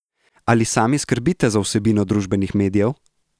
Ali sami skrbite za vsebino družbenih medijev?